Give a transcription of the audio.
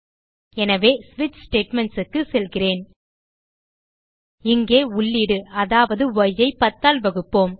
எனவேSwitch statementsக்கு செல்கிறேன் இங்கே உள்ளீடு அதாவது ய் ஐ 10 ஆல் வகுப்போம்